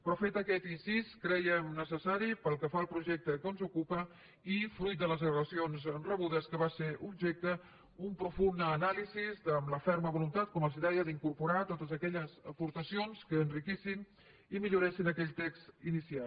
però fet aquest incís crèiem necessària pel que fa al projecte que ens ocupa i fruit de les al·legacions rebudes de què va ser objecte una profunda anàlisi amb la ferma voluntat com els deia d’incorporar totes aquelles aportacions que enriquissin i milloressin aquell text inicial